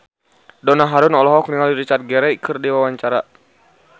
Donna Harun olohok ningali Richard Gere keur diwawancara